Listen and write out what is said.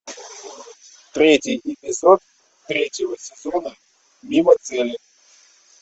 третий эпизод третьего сезона мимо цели